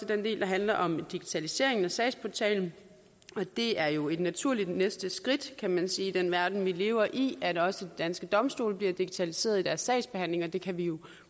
den del der handler om digitaliseringen af sagsportalen det er jo et naturligt næste skridt kan man sige i den verden vi lever i at også danske domstole bliver digitaliseret i deres sagsbehandling og det kan vi